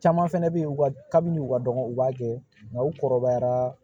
Caman fɛnɛ bɛ ye u ka kabi ni u ka dɔgɔn u b'a kɛ nka u kɔrɔbayara